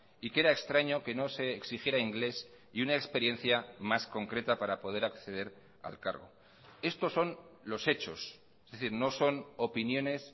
y que era extraño que no se exigiera inglés y una experiencia más concreta para poder acceder al cargo estos son los hechos es decir no son opiniones